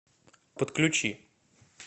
подключи